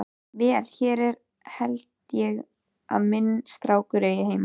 Vel, hér held ég að minn strákur eigi heima.